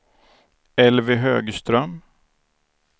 Elvy Högström